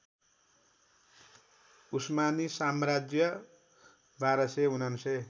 उस्मानी साम्राज्य १२९९